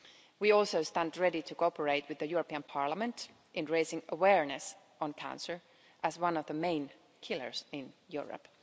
We also stand ready to cooperate with Parliament in raising awareness on cancer as one of the main killers in Europe.